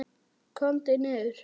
KOMDU NIÐUR!